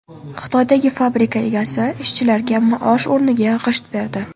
Xitoydagi fabrika egasi ishchilarga maosh o‘rniga g‘isht berdi.